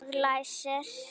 Og læsir.